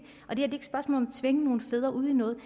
tvinge nogen fædre ud i noget